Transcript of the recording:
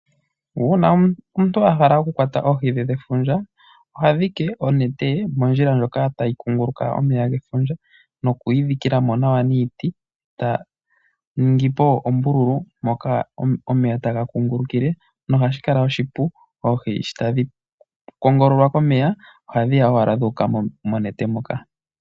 Uuna omuntu ahala okukwata oohi dhe dhefundja, oha dhike onete ye mondjila ndjoka tayi kunguluka momeya gefundja nokuyi dhikila mo nawa niiti eta ningi po ombululu moka omeya taga kungulukile, na ohashi kala oshipu oohi sho tadhi kongololwa komeya ohadhi ya owala dhuuka monete moka.